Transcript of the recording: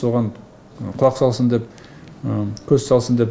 соған құлақ салсын деп көз салсын деп